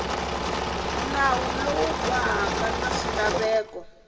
nawu lowu bohaka na swilaveko